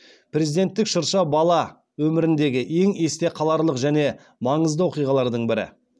президенттік шырша бала өміріндегі ең есте қаларлық және маңызды оқиғалардың бірі